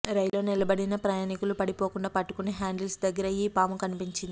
రైల్లో నిలబడిన ప్రయాణికులు పడిపోకుండా పట్టుకునే హ్యాండిల్స్ దగ్గర ఈ పాము కనిపించింది